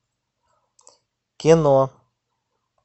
кино